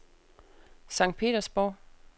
Sankt Petersborg